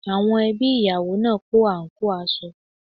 Àwọn ẹbí ìyàwó náà kó àǹkóò aṣọ